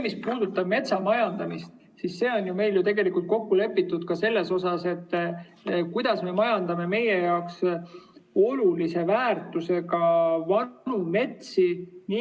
Mis puudutab metsamajandamist, siis see on meil ju kokku lepitud ka selles mõttes, kuidas me majandame meie jaoks olulise väärtusega vanu metsi.